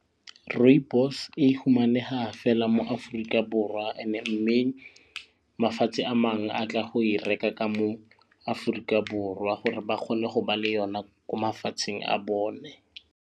Rooibos e humaneha fela mo Aforika Borwa and-e mme mafatshe a mangwe a tla go e reka ka mo Aforika Borwa gore ba kgone go ba le yona ko mafatsheng a bone.